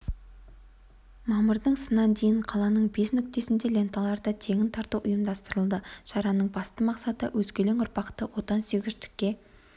мамырдың сынан дейін қаланың бес нүктесінде ленталарды тегін тарату ұйымдастырылады шараның басты мақсаты өскелең ұрпақты отансүйгіштікке